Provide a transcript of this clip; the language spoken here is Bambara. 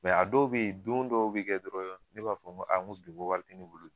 a dɔw be yen, don dɔw be kɛ dɔrɔn ne b'a fɔ n ko bi n ko wari te ne bolo bi.